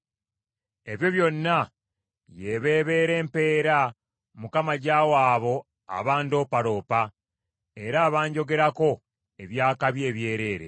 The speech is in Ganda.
Ebyo byonna y’eba ebeera empeera, Mukama gy’awa abo abandoopaloopa, era abanjogerako eby’akabi ebyereere.